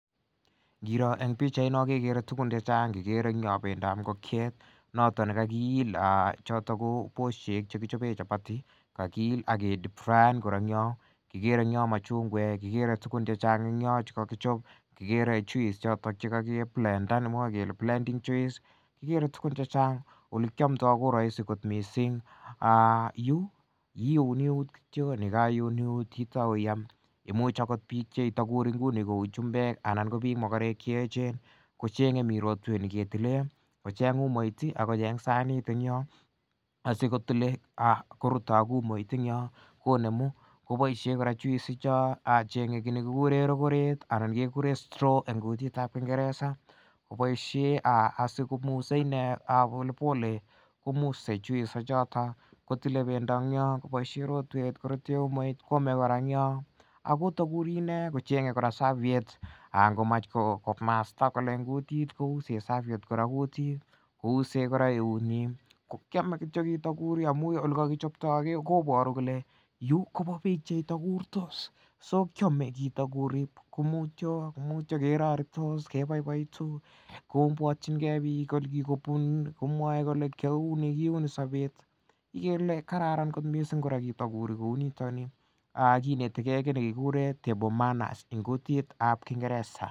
Kirooh en pichait noh kekere tugun chechang. Kikere en Yoh bendap ingokiet noton nekakil choton ko boisiet chekichoben chapati akiil ake deep frying kikere en Yoon machungeek kikere tugun chechang chekakichob kikere juice choton Cheka ki blended ake mwa kele blending juice kikere tugun chechang olekiamdaa missing ah yu kiune eut kityo yekaitar iuni eut iyam . Imuch akot ibure inguni kou chumbek anan ko bik makarek cheechen koche'nge mi rotwe neketilen , kocheng umait ih akochen sanit en Yoh asikotile korute ak umait en yo konemu kobaishe kora juice ichob, konemu kit nekikuren rokoret ih anan kekuren kekuren straw en kutitab kingereza kobaishien asiko mose inee polepole komusiek juice ichato kotile pendo en Yoon kobaishien rotuet koame kora en yoo koburi inee kocheng'e serveitte .angomach komasta en kutit kousen serviet kutit kousen kora eut nyin kokiame kityo kitakurchin kou elekakichopta kobaru kole yu koba bik cheitakurchi so kiame kitakurchin mutyo keraritos kebaibainjin kobwatin ke bik olekikobun komwae kole kiauni, kiauni sabet ikere Ile kararan kora kot missing kitakurchin kou niton ni amukineteke kit nekikuren table manners en kutit nebo kingereza